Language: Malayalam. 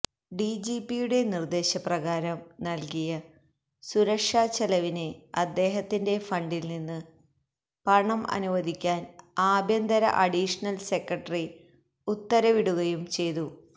ഡിജിപിയുടെ നിര്ദ്ദേശപ്രകാരം നല്കിയ സുരക്ഷാചെലവിന് അദ്ദേഹത്തിന്റെ ഫണ്ടില്നിന്ന് പണം അനുവദിക്കാന് ആഭ്യന്തര അഡീഷണല് സെക്രട്ടറി ഉത്തരവിടുകയും ചെയ്തു